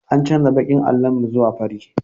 An canja baƙin allon mu zuwa fari